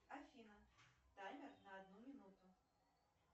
афина таймер на одну минуту